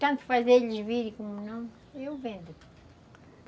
Tanto fazerem eles virem, como não, eu vendo.